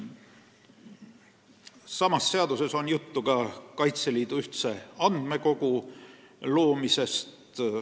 Samas eelnõus on juttu ka Kaitseliidu ühtse andmekogu loomisest.